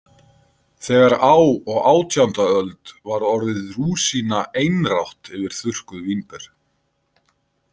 Þegar á og átjánda öld varð orðið rúsína einrátt yfir þurrkuð vínber.